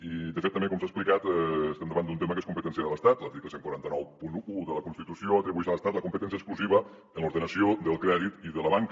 i de fet també com s’ha explicat estem davant d’un tema que és competència de l’estat l’article catorze noranta u de la constitució atribueix a l’estat la competència exclusiva en l’ordenació del crèdit i de la banca